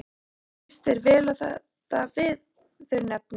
Líst þér vel á þetta viðurnefni?